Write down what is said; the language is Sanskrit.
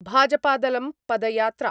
भाजपादलं पदयात्रा